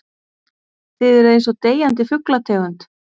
Þið eruð einsog deyjandi fuglategund.